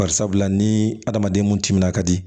Bari sabula ni hadamaden mun timinan ka di